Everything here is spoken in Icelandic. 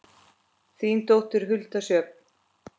Þín dóttir, Hulda Sjöfn.